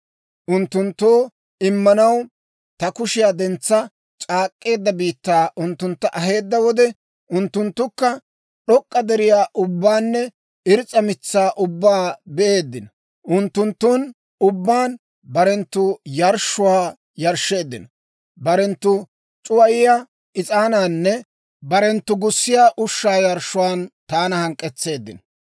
Unttunttoo immanaw ta kushiyaa dentsa c'aak'k'eedda biittaa unttuntta aheedda wode, Unttunttukka d'ok'k'a deriyaa ubbaanne irs's'a mitsaa ubbaa be'eeddino. Unttunttun ubbaan barenttu yarshshuwaa yarshsheeddino. Barenttu c'uwayiyaa is'aanaaninne barenttu gussiyaa ushshaa yarshshuwaan taana hank'k'etseeddino.